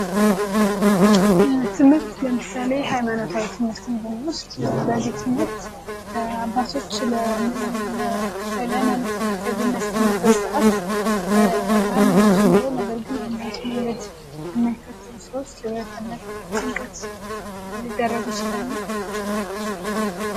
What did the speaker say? ትምህርት ለምሳሌ ሀይማኖታዊ ትምህርት ብንወስድ በዚህ ትምህርት አባቶች ለሀይማኖት ተከታይ በሚያስተምሩበት ሰዓት ሃይማኖት ኑሮ ነገር ግን የሃይማኖት መንገድ የማይከተሉ ሰዎች ቅባት እምነት ጥምቀት ሊደረጉ ይችላሉ ::